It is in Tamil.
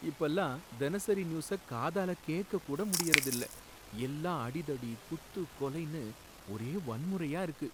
இப்பலாம் தினசரி நியூஸ காதால கேக்கக் கூட முடியுறதில்ல, எல்லாம் அடிதடி, குத்து, கொலைனு ஒரே வன்முறையா இருக்கு